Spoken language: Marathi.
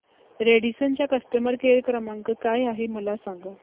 रॅडिसन चा कस्टमर केअर क्रमांक काय आहे मला सांगा